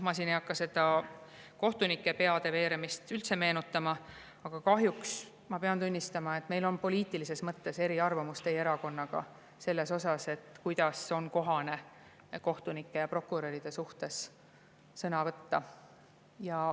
Ma ei hakka siin seda kohtunike peade veeremist üldse meenutama, aga kahjuks ma pean tunnistama, et meil on poliitilises mõttes eriarvamus teie erakonnaga selles osas, kuidas on kohane kohtunike ja prokuröride suhtes sõna võtta.